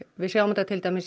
við sjáum þetta til dæmis í